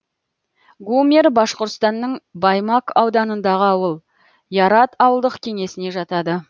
гумер башқұртстанның баймак ауданындағы ауыл ярат ауылдық кеңесіне жатады